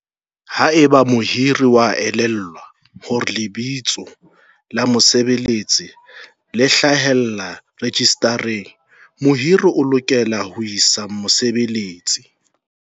"Haeba mohiri a elellwa hore lebitso la mosebeletsi le hlahellla rejistareng, mohiri o lokela ho isa mosebeletsi"